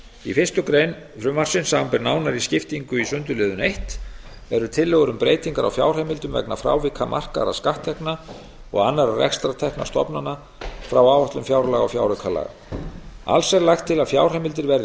í fyrstu grein frumvarpsins samanber nánari skiptingu í sundurliðun eins eru tillögur um breytingar á fjárheimildum vegna frávika markaðra skatttekna og annarra rekstrartekna stofnana frá áætlun fjárlaga og fjáraukalaga alls er lagt til að fjárheimildir verði